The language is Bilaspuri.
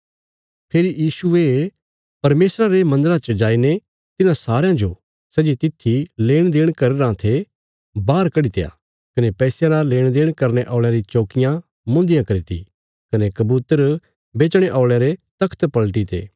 फेरी यीशुये परमेशरा रे मन्दरा च जाईने तिन्हां सारयां जो सै जे तित्थी लेणदेण करी रां थे बाहर कड्डित्या कने पैसयां जो बदलने औल़यां री चौकियां मुन्धियां करी ती कने कबूतर बेचणे औल़यां रे आसण पलटीते